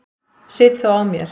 Sit þó á mér.